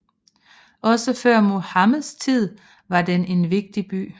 Også før Muhammeds tid var den en vigtig by